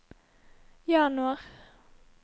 januar